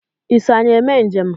Ị na-eme njem na anyị?